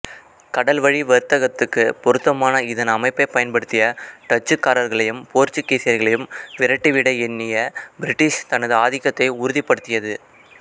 கடல்வழி வர்த்தகத்துக்குப் பொருத்தமான இதன் அமைப்பைப் பயன்படுத்திய டச்சுக்காரர்களையும் போர்ச்சுகீசியர்களையும் விரட்டிவிட எண்ணிய பிரிட்டிஷ் தனது ஆதிக்கத்தை உறுதிபடுத்தியது